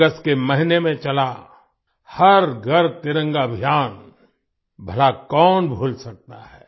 अगस्त के महीने में चला हर घर तिरंगा अभियान भला कौन भूल सकता है